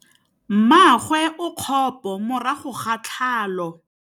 Mmagwe o kgapô morago ga tlhalô.